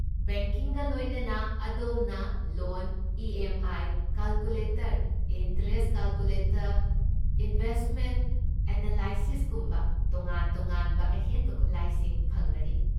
ꯕꯦꯡꯀꯤꯡꯒ ꯂꯣꯏꯅꯅ, ꯑꯗꯣꯝꯅ loan E. M. I. Calculator, interest calculator, investment ꯑꯦꯅꯥꯂꯥꯏꯁꯤꯁꯀꯨꯝꯕ ꯇꯣꯉꯥꯟ ꯇꯣꯉꯥꯟꯕ ꯑꯍꯦꯟꯕ ꯈꯨꯠꯂꯥꯏꯁꯤꯡ ꯐꯪꯒꯅꯤ꯫